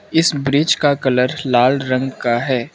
इस ब्रिज का कलर लाल रंग का है।